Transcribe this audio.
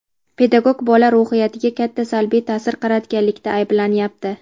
pedagog bola ruhiyatiga katta salbiy taʼsir qaratganlikda ayblanyapti.